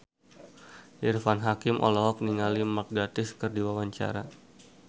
Irfan Hakim olohok ningali Mark Gatiss keur diwawancara